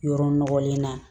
Yɔrɔ nɔgɔlen na